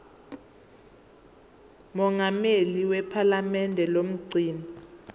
mongameli wephalamende nomgcini